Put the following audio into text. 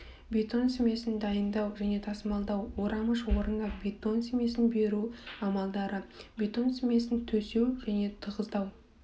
бетон смесін дайындау және тасымалдау орауыш орнына бетон смесін беру амалдары бетон смесін төсеу және тығыздау